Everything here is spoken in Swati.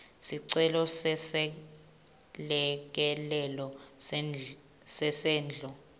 sicelo seselekelelo sesendlo